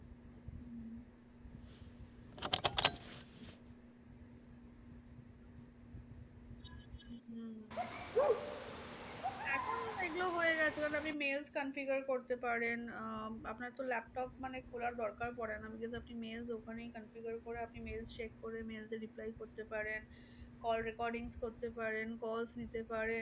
এখন এইগুলো হয়ে গেছে মানে আপনি mails configure করতে পারেন। আহ আপনার তো laptop মানে খোলার দরকার পরে না। আপনি just mails আপনি ওখানেই configure করে আপনি mails check করে mails এর reply করতে পারেন। call recordings করতে পারেন। call নিতে পারেন।